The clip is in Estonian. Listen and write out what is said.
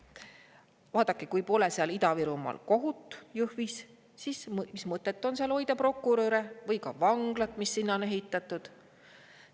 Vaadake, kui pole seal Ida-Virumaal, Jõhvis, kohut, siis mis mõtet on seal hoida prokuröre või ka vanglat, mis sinna on ehitatud?